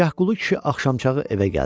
Tərgah Qulu kişi axşamçağı evə gəldi.